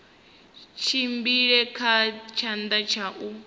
tshimbile kha tshanḓa tsha u